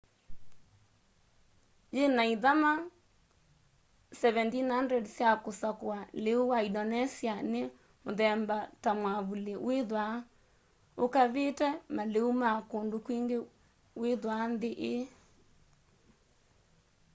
yina ithama 17,000 sya kusakua liu wa indonesia ni muthemba ta mwavuli withwaa ukavite maliu ma kundu kwingi withwaa nthi ii